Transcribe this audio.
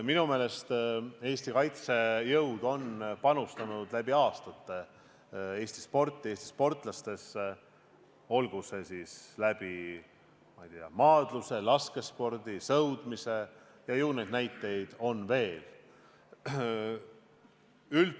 Minu meelest on Eesti kaitsejõud läbi aastate panustanud Eesti sporti, Eesti sportlastesse, olgu siis läbi maadluse, laskespordi või sõudmise, ju neid näiteid on veel.